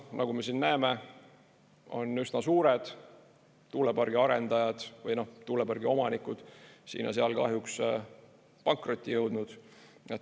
Nagu me näeme, on üsna suured tuulepargi arendajad või tuulepargi omanikud siin ja seal kahjuks pankrotti jõudnud.